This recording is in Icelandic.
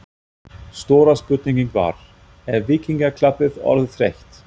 Stóra spurningin var: Er Víkingaklappið orðið þreytt?